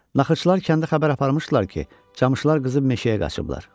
Naxırçılar kəndə xəbər aparmışdılar ki, camışlar qızıb meşəyə qaçıblar.